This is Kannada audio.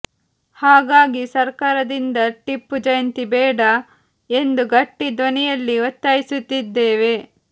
ಹಾಗಾಗಿ ಸರಕಾರದಿಂದ ಟಿಪ್ಪು ಜಯಂತಿ ಬೇಡ ಎಂದು ಗಟ್ಟಿ ಧ್ವನಿಯಲ್ಲಿ ಒತ್ತಾಯಿಸುತ್ತಿದ್ದೇವೆ